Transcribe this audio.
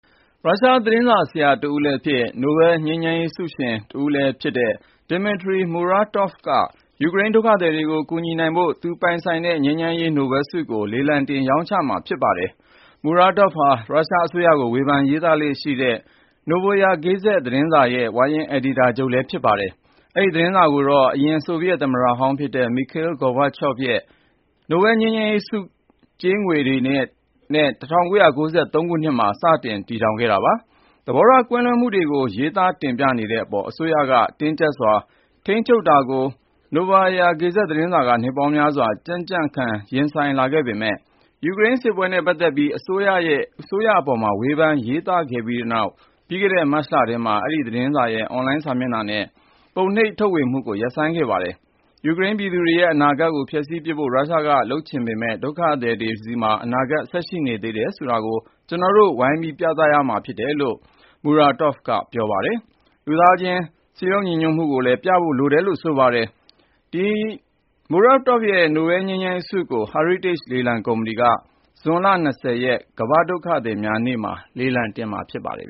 ရုရှား သတင်းစာဆရာ တဦးလည်းဖြစ် နိုဘဲလ်ငြိမ်းချမ်းရေးဆုရှင်တဦးလည်းဖြစ်တဲ့ Dmitry Muratov က ယူကရိန်းဒုက္ခသည်တွေကို ကူညီနိုင်ဖို့သူ ပိုင်ဆိုင်တဲ့ ငြိမ်းချမ်းရေး နိုဘဲလ်ဆုကို လေလံတင် ရောင်းချမှာဖြစ်ပါတယ်။ Muratov ဟာ ရုရှားအစိုးရကို ဝေဖန်ရေးသားလေ့ရှိတဲ့ Novaya Gazeta သတင်းစာရဲ့ ဝါရင့် အယ်ဒီတာချုပ်လည်း ဖြစ်ပါတယ်။ Novaya သတင်းစာကိုတော့ အရင် ဆိုဗီယက် သမ္မတဟောင်းလည်း ဖြစ်တဲ့ Mikhail Gorbachev ရဲ့ နိုဘဲလ်ငြိမ်းချမ်းရေးဆုကြေးငွေ တွေနဲ့ ၁၉၉၃ ခုနှစ်မှာ စတင်တည်ထောင်ခဲ့တာပါ။ သဘောထား ကွဲလွဲမှုတွေကို ရေးသားတင်ပြနေတဲ့အပေါ် အစိုးရက တင်းကျပ်စွာ ထိန်းချုပ်တာကို Novaya Gazeta သတင်းစာက နှစ်ပေါင်းများစွာ ကြံ့ကြံ့ခံ ရင်ဆိုင်လာခဲ့ပေမဲ့ ယူကရိန်းစစ်ပွဲနဲ့ ပတ်သက်ပြီး အစိုးရကို ဝေဖန်ရေးသားခဲ့ပြီးနောက် ပြီးခဲ့တဲ့ မတ်လထဲမှာတော့ ဒီသတင်းစာရဲ့ အွန်လိုင်းစာမျက်နှာနဲ့ သတင်းစာ ပုံနှိပ်ထုတ်ဝေမှုတွေ ရပ်ဆိုင်းခံလိုက်ရပါတယ်။ ယူကရိန်းပြည်သူတွေရဲ့ အနာဂတ်ကို ဖျက်ဆီးပစ်ဖို့ ရုရှားက လုပ်ချင်နေပေမယ့် ၊ ဒုက္ခသည်တွေမှာ အနာဂတ် ဆက်ရှိနေသေးတယ်ဆိုတာကို ကျနော်တို့က ဝိုင်းဝန်းပြသရမှာဖြစ်တယ်လို့ Muratov ကပြောပါတယ်။ ဒါ့အပြင် လူသားချင်း စည်းလုံးညီညွတ်မှု ရှိတယ်ဆိုတာကို ပြသဖို့က အရေးကြီးဖြစ်တယ်လို့ သူက ပြောပါတယ်။ Muratov ရဲ့ နိုဘဲလ်ငြိမ်းချမ်းရေးဆုကို Heritage လေလံကုမ္ပဏီက ဇွန်လ(၂၀)ရက် ကမ္ဘာ့ဒုက္ခသည်များနေ့မှာ လေလံတင်မှာ ဖြစ်ပါတယ်